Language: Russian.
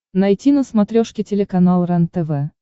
найти на смотрешке телеканал рентв